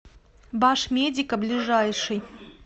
башмедика ближайший